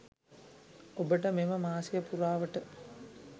ඔබට මෙම මාසය පුරාවට